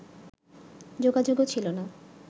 যোগাযোগও ছিল না